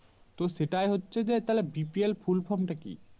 তো সেটা হচ্ছে যে তাহলে BPLFull From টা কি?